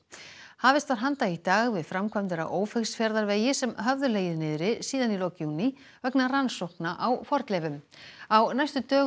hafist var handa í dag við framkvæmdir á Ófeigsfjarðarvegi sem höfðu legið niðri síðan í lok júní vegna rannsókna á fornleifum á næstu dögum